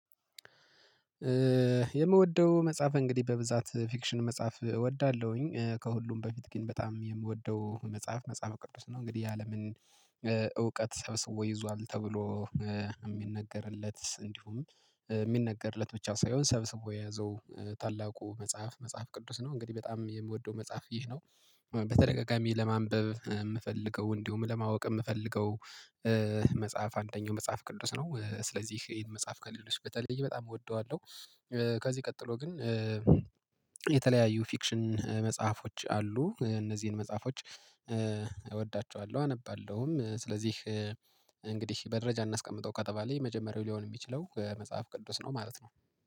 የምወደው መጽሐፍ እንግዲህ በብዛት ፊክሽን መጽሐፍ እወዳለሁኝ ከሁሉም በፊት ግን በጣም የምወደው መጽሐፍ መጽሐፈ ቅዱስ ነው። እንግዲህ የአለምን እውቀት ሰብስቦ ይዟል ተብሎ የሚነገርለት እንዲሁም የሚነገርለት ብቻ ሳይሆን ሰብስቦ የያዘው ታላቁ መጽሐፍ መጽሐፍ ቅዱስ ነው። እንግዲህ በጣም የምወደው መጽሐፍ ይህ ነው። በተደጋጋሚ ለማንበብ የምፈልገው እንዲሁም ለማወቅ የምፈልገው መጽሐፍ አንደኛው መጽሐፍ ቅዱስ ነው። ስለዚህ ይሄን መጽሐፍ ከሌሎች በተለይ በጣም እወደዋለሁ። ከዚህ ቀጥሎ ግን የተለያዩ ፊክሽን መጽሐፎች አሉ እነዚህን መጽሐፎች እወዳቸዋለሁ አነባለሁም ስለዚህ። እንግዲህ በደረጃ እናስቀምጠው ከተባለ የመጀመሪያው ሊሆን የሚችለው መጽሐፍ ቅዱስ ነው ማለት ነው